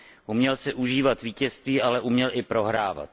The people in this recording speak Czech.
Uměl si užívat vítězství, ale uměl i prohrávat.